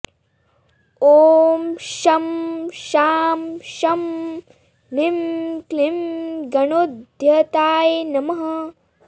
ॐ शं शां षं ह्रीं क्लीं गणोद्धताय नमः